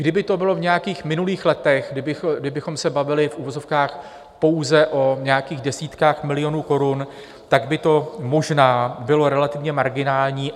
Kdyby to bylo v nějakých minulých letech, kdybychom se bavili v uvozovkách pouze o nějakých desítkách milionů korun, tak by to možná bylo relativně marginální.